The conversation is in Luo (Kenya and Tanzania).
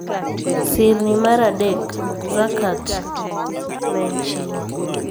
Sirni mar adek: Zakat (Chiwo).